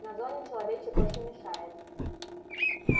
на зоне человечек очень мешает